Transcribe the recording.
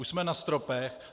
Už jsme na stropech.